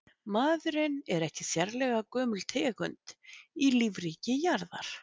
maðurinn er ekki sérlega gömul tegund í lífríki jarðar